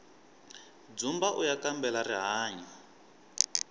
dzumbauya kambela rihanyu